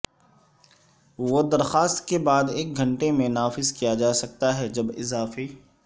وہ درخواست کے بعد ایک گھنٹے میں نافذ کیا جا سکتا ہے جب اضافی